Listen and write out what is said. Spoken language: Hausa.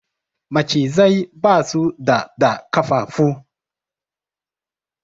Macizai ba su da da ƙafafu